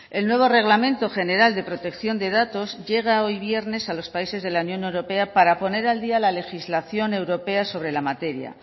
el nuevo reglamento general de protección de datos llega hoy viernes a los países de la unión europea para poner al día la legislación europea sobre la materia